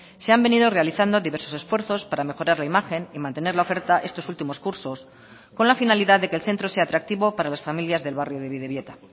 se han venido realizando diversos esfuerzos para mejorar la imagen y mantener la oferta estos últimos cursos con la finalidad de que el centro sea atractivo para las familias del barrio de bidebieta